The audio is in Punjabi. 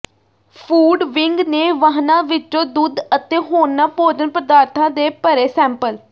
ਫੂਡ ਵਿੰਗ ਨੇ ਵਾਹਨਾਂ ਵਿੱਚੋਂ ਦੁੱਧ ਅਤੇ ਹੋਰਨਾਂ ਭੋਜਨ ਪਦਾਰਥਾਂ ਦੇ ਭਰੇ ਸੈਂਪਲ